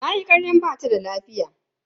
Tayi karyan bata da lafiya.